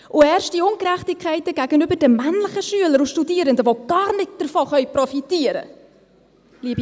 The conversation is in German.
Und erst die Ungerechtigkeiten gegenüber den männlichen Studierenden, die gar nicht davon profitieren können!